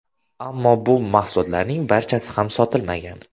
Ammo bu mahsulotlarning barchasi ham sotilmagan.